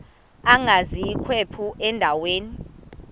agwaz ikhephu endaweni